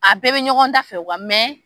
A bɛɛ bɛ ɲɔgɔn da fɛ